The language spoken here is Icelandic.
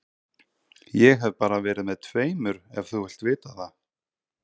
Ég hef bara verið með tveimur ef þú vilt vita það.